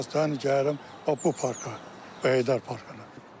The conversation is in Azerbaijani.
Həmişə gəlirəm bax bu parka, Heydər parkına.